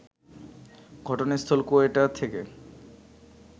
ঘটনাস্থল কোয়েটা থেকে